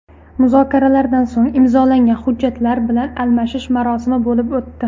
Muzokaralardan so‘ng imzolangan hujjatlar bilan almashish marosimi bo‘lib o‘tdi.